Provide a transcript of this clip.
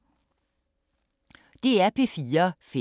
DR P4 Fælles